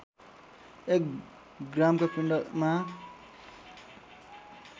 एक ग्रामका पिण्डमा